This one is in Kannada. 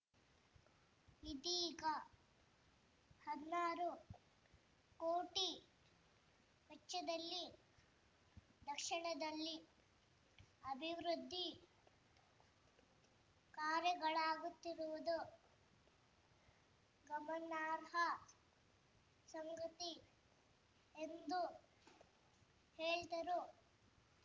ಇದೀಗ ಹದ್ ನಾರು ಕೋಟಿ ವೆಚ್ಚದಲ್ಲಿ ದಕ್ಷಿಣದಲ್ಲಿ ಅಭಿವೃದ್ಧಿ ಕಾರ್ಯಗಳಾಗುತ್ತಿರುವುದು ಗಮನಾರ್ಹ ಸಂಗತಿ ಎಂದು ಹೇಳಿದರು